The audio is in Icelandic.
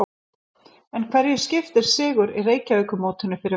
En hverju skiptir sigur í Reykjavíkurmótinu fyrir Val?